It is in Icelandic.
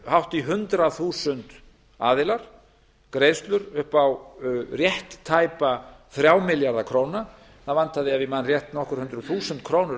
hátt í hundrað þúsund aðilar greiðslur upp á rétt tæpa þrjá milljarða króna það vantaði ef ég man rétt nokkur hundruð þúsund krónur